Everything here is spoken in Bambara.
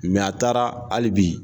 a taara hali bi